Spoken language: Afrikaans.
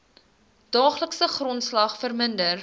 daaglikse grondslag verminder